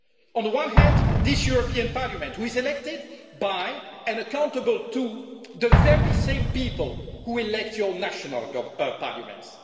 On the one hand, this European Parliament was elected by, and is accountable to, the very same people who elect your national parliaments.